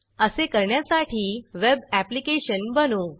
असे करण्यासाठी web application बनवू